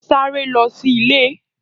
Sáré lọ sí ilé!